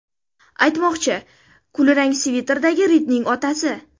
Aytmoqchi, kulrang sviterdagi Ridning otasi.